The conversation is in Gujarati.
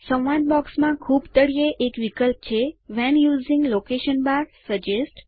સંવાદ બોક્સમાં ખૂબ તળિયે એક વિકલ્પ છે when using location bar suggest